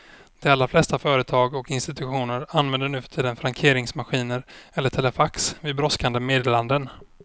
De allra flesta företag och institutioner använder nu för tiden frankeringsmaskiner eller telefax vid brådskande meddelanden.